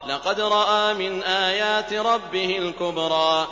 لَقَدْ رَأَىٰ مِنْ آيَاتِ رَبِّهِ الْكُبْرَىٰ